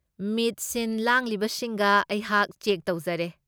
ꯃꯤꯠ ꯁꯤꯟ ꯂꯥꯡꯂꯤꯕꯁꯤꯡꯒ ꯑꯩꯍꯥꯛ ꯆꯦꯛ ꯇꯧꯖꯔꯦ꯫